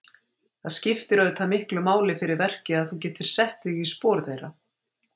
Það skiptir auðvitað miklu máli fyrir verkið að þú getir sett þig í spor þeirra?